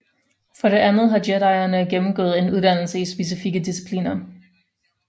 For det andet har jedierne gennemgået en uddannelse i specifikke discipliner